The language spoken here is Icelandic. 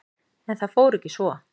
En það fór ekki svo.